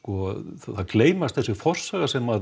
það gleymast þessi forsaga sem